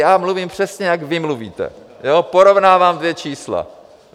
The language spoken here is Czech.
Já mluvím přesně, jak vy mluvíte, porovnávám dvě čísla.